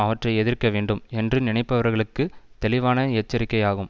அவற்றை எதிர்க்க வேண்டும் என்று நினைப்பவர்களுக்குத் தெளிவான எச்சரிக்கை ஆகும்